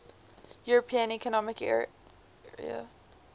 european economic area